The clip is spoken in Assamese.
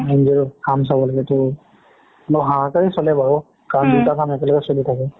NGOৰ কাম চাব লাগে তোৰ মোৰ হাহাকাৰেই চলে বাৰু কাৰণ দুটা কাম একেলগে চলি থাকে